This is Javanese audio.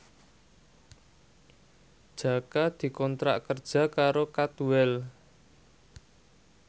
Jaka dikontrak kerja karo Cadwell